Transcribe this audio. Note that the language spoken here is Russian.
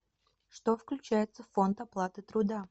что включается в фонд оплаты труда